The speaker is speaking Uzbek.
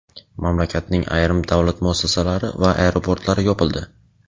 Mamlakatning ayrim davlat muassasalari va aeroportlari yopildi.